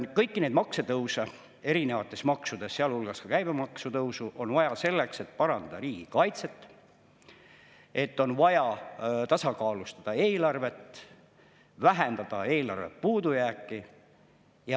Et kõiki neid maksutõuse, erinevate maksude tõusu, sealhulgas käibemaksu tõusu on vaja selleks, et parandada riigikaitset, et tasakaalustada eelarvet ja vähendada eelarve puudujääki.